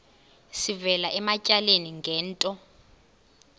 sivela ematyaleni ngento